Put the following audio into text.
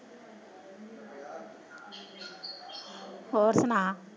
ਹੋਰ ਸੁਣਾ?